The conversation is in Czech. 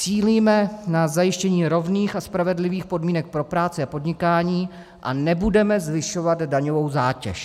Cílíme na zajištění rovných a spravedlivých podmínek pro práci a podnikání a nebudeme zvyšovat daňovou zátěž."